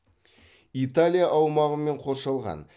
италия аумағымен қоршалған